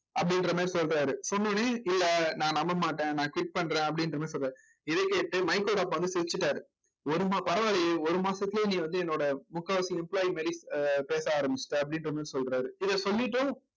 அப்படின்ற மாதிரி சொல்றாரு சொன்னவுடனே இல்லை நான் நம்ப மாட்டேன் நான் quit பண்றேன் அப்படின்ற மாதிரி சொல்றாரு இதை கேட்டு மைக்கோட அப்பா வந்து சிரிச்சிட்டாரு ஒரு மா பரவாயில்லையே ஒரு மாசத்திலேயே நீ வந்து என்னோட முக்காவாசி employee மாதிரி ஆஹ் பேச ஆரம்பிச்சிட்ட அப்படின்ற மாதிரி சொல்றாரு இதை சொல்லிட்டு